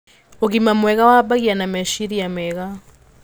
Ũgima mwega wambagia na meciria mega